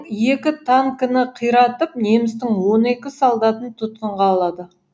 екі танкіні қиратып немістің он екі солдатын тұтқынға алады